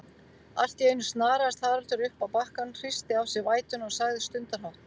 Alltíeinu snaraðist Haraldur uppá bakkann, hristi af sér vætuna og sagði stundarhátt